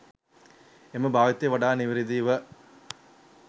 එම භාවිතය වඩා නිවැරදි ව